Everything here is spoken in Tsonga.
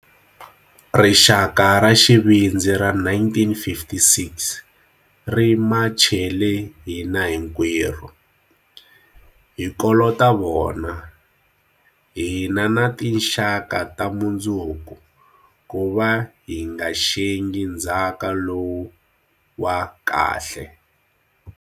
Rixaka ra xivindzi ra 1956 ri machele hina hinkwerhu. Hi kolota vona, hina na tinxaka ta mundzuku kuva hi nga xengi ndzhaka lowu wa kahle.